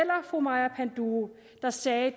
fru maja panduro der sagde